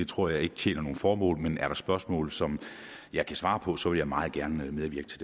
tror jeg ikke tjener noget formål men er der spørgsmål som jeg kan svare på så vil jeg meget gerne medvirke til